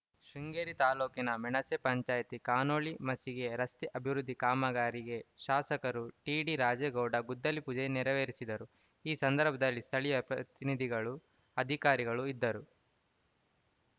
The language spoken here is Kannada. ಶೃಂಗೇರಿ ತಾಲೂಕಿನ ಮೆಣಸೆ ಪಂಚಾಯಿತಿ ಕಾನೋಳ್ಳಿ ಮಸಿಗೆ ರಸ್ತೆ ಅಭಿವೃದ್ಧಿ ಕಾಮಗಾರಿಗೆ ಶಾಸಕರು ಟಿಡಿರಾಜೇಗೌಡ ಗುದ್ದಲಿಪೂಜೆ ನೆರವೇರಿಸಿದರು ಈ ಸಂದರ್ಭದಲ್ಲಿ ಸ್ಥಳೀಯ ಜನಪ್ರತಿನಿದಿಗಳು ಅಧಿಕಾರಿಗಳು ಇದ್ದರು